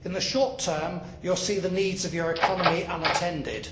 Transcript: In the short term, you will see the needs of your economy unattended.